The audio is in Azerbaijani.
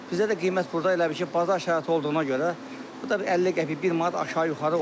Bizdə də qiymət burda elə bil ki, bazar şəraiti olduğuna görə bu da bir 50 qəpik, bir manat aşağı-yuxarı olur.